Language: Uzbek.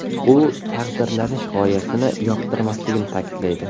U taqdirlanish g‘oyasini yoqtirmasligini ta’kidlaydi.